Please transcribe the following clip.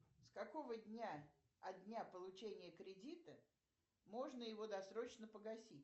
с какого дня от дня получения кредита можно его досрочно погасить